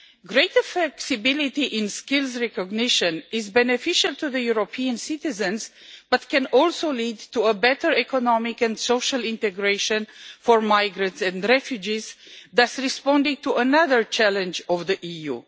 Greater flexibility in skills recognition is beneficial for European citizens, and can also lead to better economic and social integration for migrants and refugees, thus responding to another challenge of the EU.